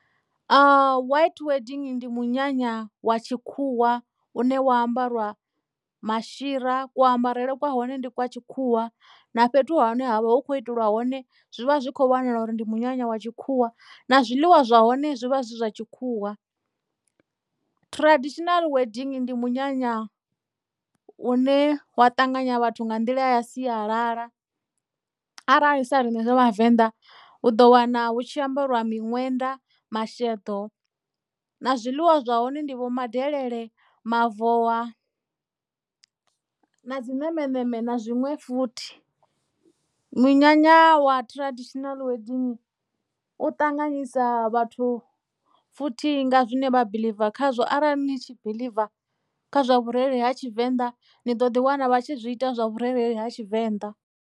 White wedding ndi munyanya wa tshikhuwa une wa ambariwa mashira ku ambarele kwa hone ndi kwa tshikhuwa na fhethu hune ha vha hu khou itelwa hone zwivha zwi kho vhonala uri ndi munyanya wa tshikhuwa na zwiḽiwa zwa hone zwi vha zwi zwa tshikhuwa. Traditional wedding ndi munyanya u ne wa ṱanganya vhathu nga nḓila ya sialala arali sa riṋe vhavenḓa u do wana hu tshi ambariwa miṅwenda masheḓo na zwiḽiwa zwa hone ndi vho madelele, mavowa na dzi ṋemeṋeme na zwiṅwe futhi munyanya wa traditional u ṱanganyisa vhathu futhi nga zwine vha biḽiva khazwo arali ni tshi biḽiva kha zwa vhurereli ha tshivenḓa ni ḓo ḓi wana vha tshi zwi ita zwa vhurereli ha tshivenḓa.